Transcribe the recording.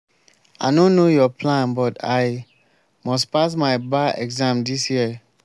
i no know your plan but i must pass my bar exam dis year